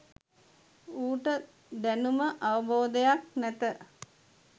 ඌට දැනුම අවබෝධයක් නැත